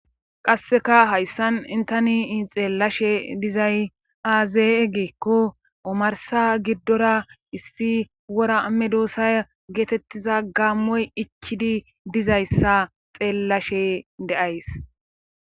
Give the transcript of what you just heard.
qasseka hayssan tanii xeellashe dizay aaze giikko omarsa giddora issi wora medoosa geetettiza gaammoy ichidi dizayssa xeellashe de'ays